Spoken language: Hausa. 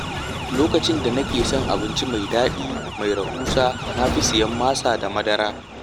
Lokacin da nake son abinci mai daɗi mai rahusa na fi siyan masa da madara.